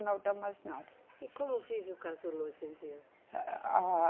Não dá mais nada. E como vive o casulo hoje em dia? A, a, a